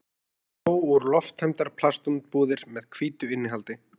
Dró út lofttæmdar plastumbúðir með hvítu innihaldi.